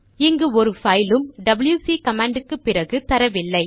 இங்கு ஒரு பைலும் டபில்யுசி கமாண்ட் க்குப் பிறகு தரவில்லை